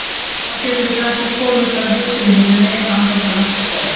Þá getum við kannski komist að húsinu hinum megin án þess að nokkur sjái.